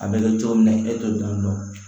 A bɛ kɛ cogo min na e t'o dɔn